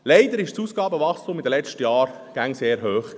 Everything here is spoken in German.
Leider war das Ausgabenwachstum in den letzten Jahren immer sehr hoch.